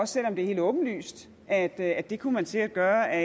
selv om det er helt åbenlyst at at det kunne man sikkert gøre af